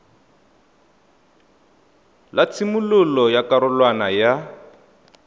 la tshimololo ya karolwana ya